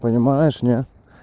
понимаешь не